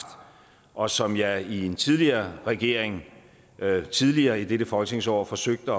og som jeg i en tidligere regering tidligere i dette folketingsår forsøgte